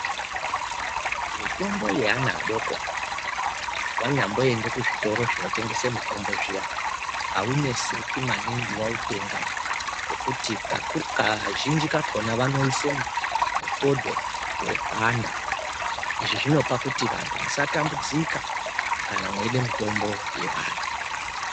Mutombo yeana adoko wanyamboenda kuzvitoro zvinotengeswa mutombo zviya awuneseki maningi wautenga ngekuti kazhinji kakona vanoise mufodho weana. Izvi zvinopa kuti antu musatambudzika kana mweida mutombo yevana.